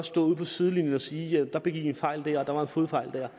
stå ude på sidelinjen og sige og der begik i en fejl der og der var en fodfejl der